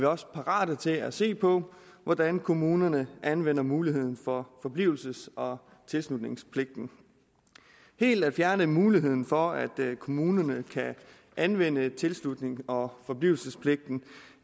også parate til at se på hvordan kommunerne anvender muligheden for forblivelses og tilslutningspligten helt at fjerne muligheden for at kommunerne kan anvende tilslutnings og forblivelsespligten